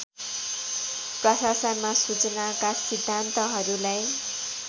प्रशासनमा सूचनाका सिद्धान्तहरूलाई